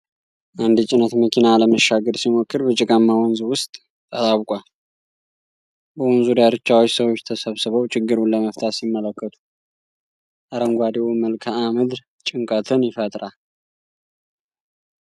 አንድ የጭነት መኪና ለመሻገር ሲሞክር በጭቃማ ወንዝ ውስጥ ተጣብቋል። በወንዙ ዳርቻዎች ሰዎች ተሰብስበው ችግሩን ለመፍታት ሲመለከቱ፣ አረንጓዴው መልክዓ ምድር ጭንቀትን ይፈጥራል።